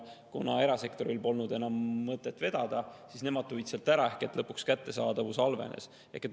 Ja kuna erasektoril polnud enam mõtet vedada, siis nemad selle ära, ehk lõpuks kättesaadavus halvenes.